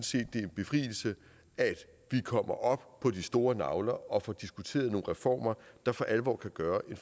set det er en befrielse at vi kommer op på de store nagler og får diskuteret nogle reformer der for alvor kan gøre en